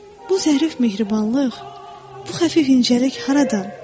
Bu zərif mehribanlıq, bu xəfif incəlik haradan?